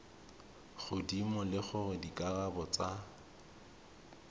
godimo le gore dikarabo tsa